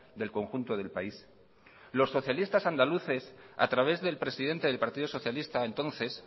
del conjunto del país los socialistas andaluces a través del presidente del partido socialista entonces